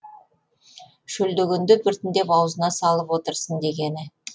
шөлдегенде біртіндеп аузына салып отырсын дегені